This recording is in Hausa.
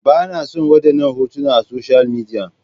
Ba na son wadannan hotuna a social media.